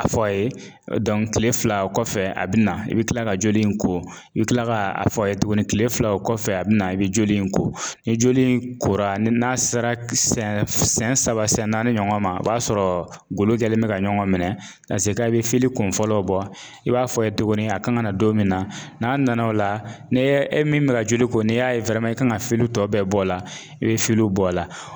A fɔ a ye kile fila kɔfɛ a bina, i bi kila ka joli in ko, i bi kila k'a fɔ a ye tuguni kile fila o kɔfɛ a bina, i bi joli in ko, ni joli in kora n'a sera siyɛn saba siyɛn naani ɲɔgɔn ma, o b'a sɔrɔ golo kɛlen bɛ ka ɲɔgɔn minɛ, i bi kun fɔlɔw bɔ, i b'a f'a ye tuguni a kan ka na don min na, n'a nana o la, ni e min mɛ ka joli ko, n'i y'a ye i kan ka tɔw bɛɛ bɔ a la, i bi bɔ a la.